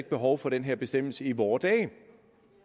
behov for den her bestemmelse i vore dage